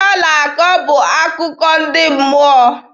Ihe ọ na-akọ bụ akụkọ ndị mmụọ.